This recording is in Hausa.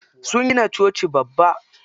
Sun gina coci babba.